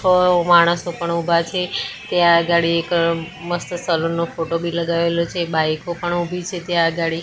માણસો પણ ઉભા છે ત્યાં આગાડી એક મસ્ત સલુન નો ફોટો ભી લગાવેલો છે બાઈકો પણ ઉભી છે ત્યાં આગાડી.